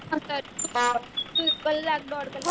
કલાક દોઢ કલાક